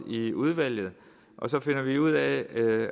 i udvalget og så finder vi ud af